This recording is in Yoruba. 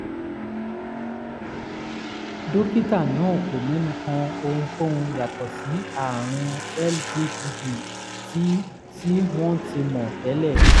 dókítà náà kò mẹ́nu kan ohunkóhun yàtọ̀ sí àrùn lbbb tí tí wọ́n ti mọ̀ tẹ́lẹ̀